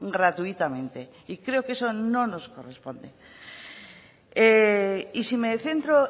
gratuitamente y creo que eso no nos corresponde y si me centro